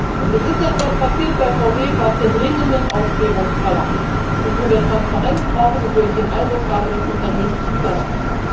Und es ist etwas passiert bei VW, was der dringenden Aufklärung bedarf, wo wir Transparenz brauchen und wo ich den Eindruck habe, das Unternehmen tut das auch.